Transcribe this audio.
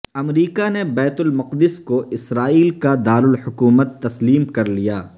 امریکا نے بیت المقدس کو اسرائیل کا دارالحکومت تسلیم کرلیا